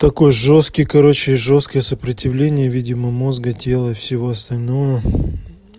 такой жёсткий короче жёсткое сопротивление видимо мозга тела и всего остального